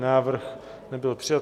Návrh nebyl přijat.